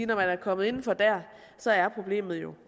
når man er kommet indenfor der så er problemet jo